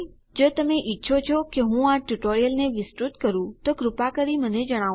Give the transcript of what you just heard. જો તમે ઈચ્છો છો કે હું આ ટ્યુટોરીયલને વિસ્તૃત કરું તો કૃપા કરી મને જણાવો